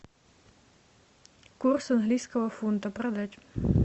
курс английского фунта продать